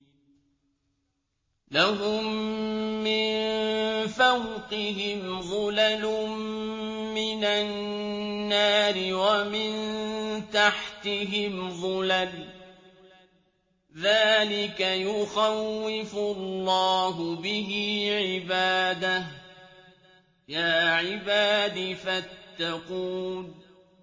لَهُم مِّن فَوْقِهِمْ ظُلَلٌ مِّنَ النَّارِ وَمِن تَحْتِهِمْ ظُلَلٌ ۚ ذَٰلِكَ يُخَوِّفُ اللَّهُ بِهِ عِبَادَهُ ۚ يَا عِبَادِ فَاتَّقُونِ